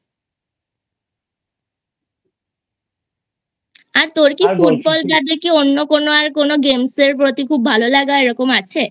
আর তোর কি Football বাদে কি অন্য কোনো Games এর প্রতি ভালো লাগা এরকম আছে?